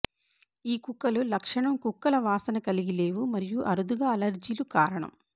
ఈ కుక్కలు లక్షణం కుక్కల వాసన కలిగి లేవు మరియు అరుదుగా అలెర్జీలు కారణం